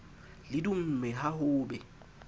le dumme ha ho be